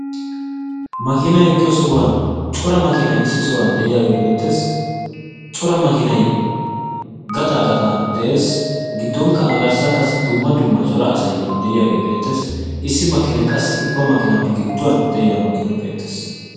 makinay eqqiyo sohuwan cora makinay issisan de'iyage beettes. cora makinay gaxaa gaxan de'es. giddonkka a garssan qassi cora asay de'iyage beettes. issi makinay qassi ubba makinaappe gidduwan de'iyage beettes.